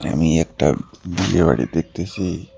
আমি একটা বিয়ে বাড়ি দেখতেসি।